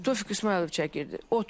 Tofiq İsmayılov çəkirdi.